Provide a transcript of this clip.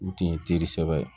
U tun ye teri sɛbɛ ye